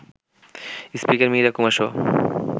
speaker Meera কুমারসহ